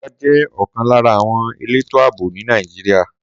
Sọ́jà jẹ́ ọ̀kan lára àwọn elétò ààbò ní Nàìjíríà.